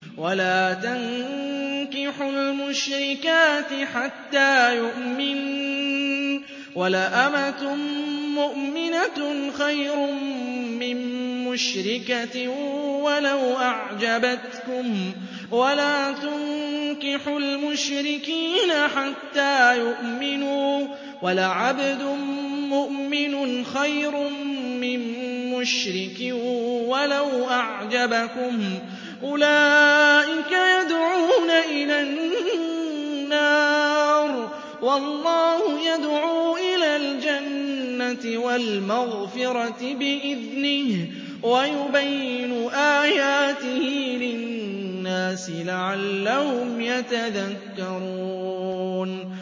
وَلَا تَنكِحُوا الْمُشْرِكَاتِ حَتَّىٰ يُؤْمِنَّ ۚ وَلَأَمَةٌ مُّؤْمِنَةٌ خَيْرٌ مِّن مُّشْرِكَةٍ وَلَوْ أَعْجَبَتْكُمْ ۗ وَلَا تُنكِحُوا الْمُشْرِكِينَ حَتَّىٰ يُؤْمِنُوا ۚ وَلَعَبْدٌ مُّؤْمِنٌ خَيْرٌ مِّن مُّشْرِكٍ وَلَوْ أَعْجَبَكُمْ ۗ أُولَٰئِكَ يَدْعُونَ إِلَى النَّارِ ۖ وَاللَّهُ يَدْعُو إِلَى الْجَنَّةِ وَالْمَغْفِرَةِ بِإِذْنِهِ ۖ وَيُبَيِّنُ آيَاتِهِ لِلنَّاسِ لَعَلَّهُمْ يَتَذَكَّرُونَ